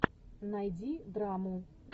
найди драму